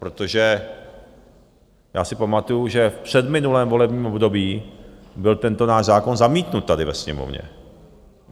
Protože já si pamatuju, že v předminulém volebním období byl tento náš zákon zamítnut tady ve Sněmovně.